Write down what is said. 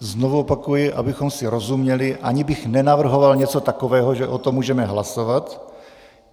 Znovu opakuji, abychom si rozuměli, ani bych nenavrhoval něco takového, že o tom můžeme hlasovat.